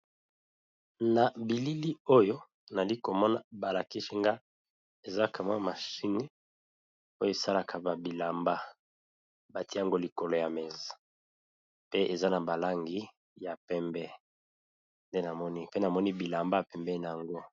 Na bilili oyo nali komona balakisi nga eza ka mwa machine oyo esalaka bilamba batiango likolo ya mesa, pe eza na balangi ya pembe , pe namoni bilamba na pembeni na yango.